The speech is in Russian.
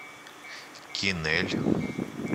кинель